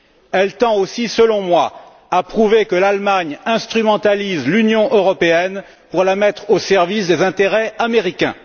Elle tend aussi, selon moi, à prouver que l'Allemagne instrumentalise l'Union européenne pour la mettre au service des intérêts américains.